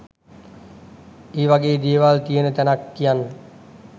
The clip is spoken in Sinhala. ඒ වගේ දේවල් තියෙන තැනක් කියන්න